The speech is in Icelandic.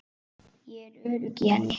Ég er örugg í henni.